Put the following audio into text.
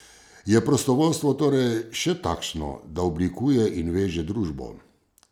Je prostovoljstvo torej še takšno, da oblikuje in veže družbo?